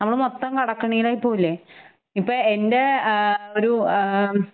നമ്മള് മൊത്തം കടക്കെണിയിലായി പോകില്ലെ. ഇപ്പ എന്റേ ഏഹ് ഒരു ആം